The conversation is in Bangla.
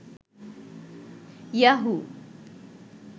ইয়াহু